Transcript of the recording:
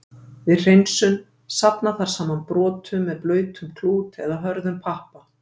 Við hreinsun: Safna þarf saman brotunum með blautum klút, eða hörðum pappa.